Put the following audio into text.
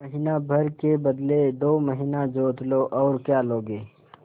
महीना भर के बदले दो महीना जोत लो और क्या लोगे